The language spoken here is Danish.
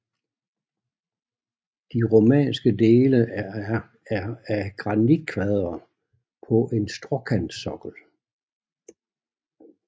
De romanske dele er af granitkvadre på en skråkantsokkel